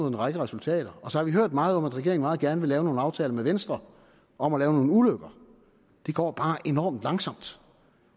en række resultater og så har vi hørt meget om at regeringen meget gerne vil lave nogle aftaler med venstre om at lave nogle ulykker det går bare enormt langsomt